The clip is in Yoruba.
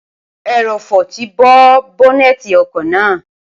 ẹrọ̀fọ̀ ti bo bọ́́nẹ́ẹ̀ti ọkọ̀ náà